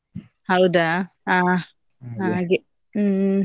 ಹೌದಾ ಅಹ್ ಹ್ಮ್.